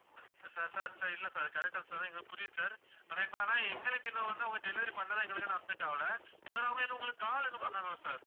sir sir இல்ல sir correct ஆ சொல்ற எங்களுக்கு புரியுது sir ஆனா இப்ப ஆனா எங்களுக்கு இன்னும் வந்து அவங்க delivery பண்றது எங்களுக்கு இன்னும் update ஆகலை sir அவங்க இன்னும் உங்களுக்கு call எதுவும் பண்ணாங்களா sir